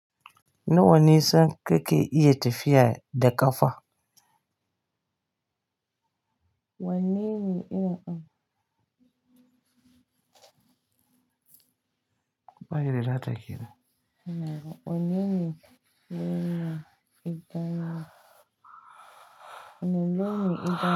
Nawa ne san keke iya tafiya da ƙafa? Wane ne yana- ba gida za ta kira. Ina ruwa. Wane ne yana idanu? Wane ne yana idanu?